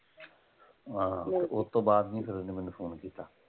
ਹਾਂ ਫੇਰ ਓਹਤੋਂ ਬਾਅਦ ਨਹੀਂ ਫੇਰ ਮੈਨੂੰ ਫ਼ੋਨ ਕੀਤਾ।